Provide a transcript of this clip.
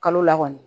Kalo la kɔni